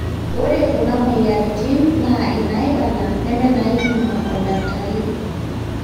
ore kuna mweyiaritin naa inaaibala nemeinaaipima oldakitari